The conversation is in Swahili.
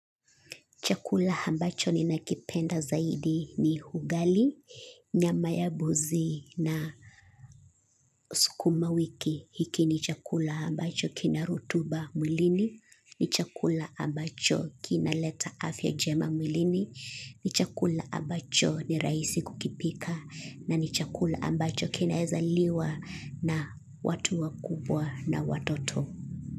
Chakula ambacho ninakipenda zaidi ni ugali, nyama ya mbuzi na sukuma wiki. Hiki ni chakula ambacho kina rotuba mwilini, ni chakula ambacho kinaleta afya njema mwilini, ni chakula ambacho ni rahisi kukipika, na ni chakula ambacho kinaezaliwa na watu wakubwa na watoto.